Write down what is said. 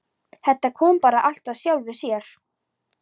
Þetta kom bara allt af sjálfu sér.